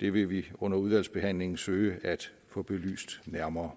det vil vi under udvalgsbehandlingen søge at få belyst nærmere